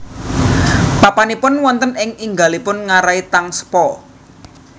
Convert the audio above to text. Papanipun wonten ing inggilipun ngarai Tsangpo